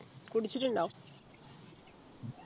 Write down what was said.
കുടിച്ചിട്ടിണ്ടോ